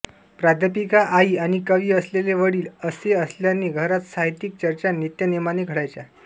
प्राध्यापिका आई आणि कवी असलेले वडील असेअसल्याने घरात साहित्यिक चर्चा नित्यनेमाने घडायच्या